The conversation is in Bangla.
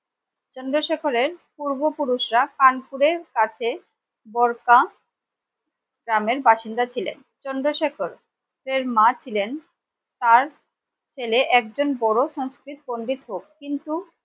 চন্দ্রশেখরের পূর্বপুরুষরা কানপুরের কাছে বলকা গ্রামের বাসিন্দা ছিলেন চন্দ্রশেখর এর মা ছিলেন তার ছেলে একজন বড় সংস্কৃত পণ্ডিত হোক কিন্তু ।